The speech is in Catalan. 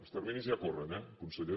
els terminis ja corren eh conseller